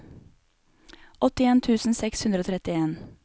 åttien tusen seks hundre og trettien